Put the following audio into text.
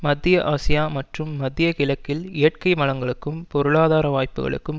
மத்திய ஆசியா மற்றும் மத்திய கிழக்கில் இயற்கை வளங்களுக்கும் பொருளாதார வாய்ப்புகளுக்கும்